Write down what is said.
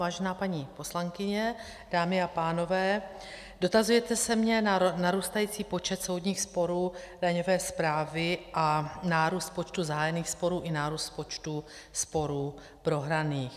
Vážená paní poslankyně, dámy a pánové, dotazujete se mě na narůstající počet soudních sporů daňové správy a nárůst počtu zahájených sporů i nárůst počtu sporů prohraných.